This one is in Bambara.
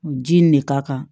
Ji nin de ka kan